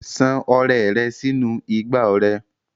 San ọrẹ rẹ sínú igbá ọrẹ.